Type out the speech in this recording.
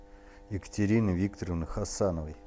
екатерины викторовны хасановой